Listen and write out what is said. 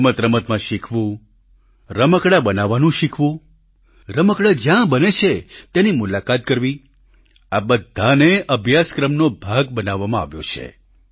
રમતરમતમાં શિખવું રમકડાં બનાવવાનું શિખવું રમકડાં જ્યાં બને છે ત્યાંની મુલાકાત કરવી આ બધાને અભ્યાસક્રમ નો ભાગ બનાવવામાં આવ્યો છે